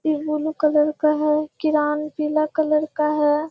ये blue colour का है किरान क्रेन पीला कलर का है।